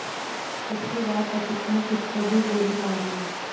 इसके बाद सचिन ने खुद को भी गोली मार ली